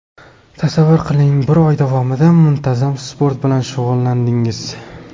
Tasavvur qiling, bir oy davomida muntazam sport bilan shug‘ullandingiz.